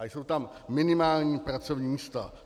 A jsou tam minimální pracovní místa.